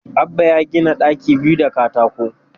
Abbah ya gina ɗaki biyu da katako